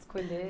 Escolher.